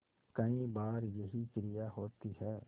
कई बार यही क्रिया होती है